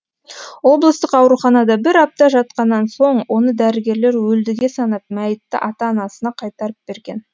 облыстық ауруханада бір апта жатқаннан соң оны дәрігерлер өлдіге санап мәйітті ата анасына қайтарып берген